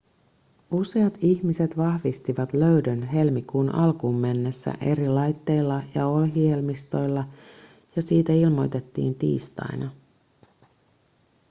useat ihmiset vahvistivat löydön helmikuun alkuun mennessä eri laitteilla ja ohjelmistoilla ja siitä ilmoitettiin tiistaina